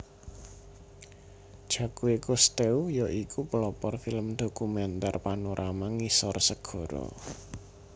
Jacque Cousteau ya iku pelopor film dokumenter panorama ngisor segara